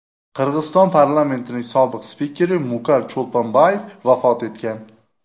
Qirg‘iziston parlamentining sobiq spikeri Mukar Cho‘lponbayev vafot etgan.